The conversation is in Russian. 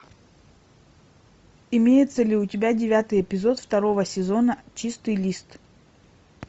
имеется ли у тебя девятый эпизод второго сезона чистый лист